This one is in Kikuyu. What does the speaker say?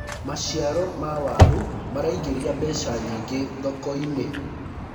maciaro ma waru maraignĩria mbeca nyingi thoko-inĩ